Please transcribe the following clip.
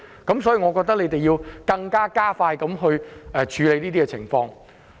所以，我認為政府要加快處理這事情。